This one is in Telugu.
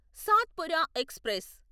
సాత్పురా ఎక్స్ప్రెస్